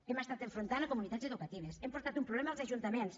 hem estat enfrontant comunitats educatives hem portat un problema als ajuntaments